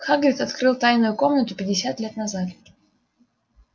хагрид открыл тайную комнату пятьдесят лет назад